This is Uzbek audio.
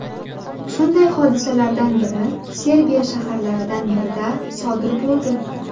Shunday hodisalardan biri Serbiya shaharlaridan birida sodir bo‘ldi.